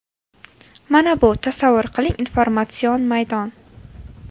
Mana bu, tasavvur qiling, informatsion maydon.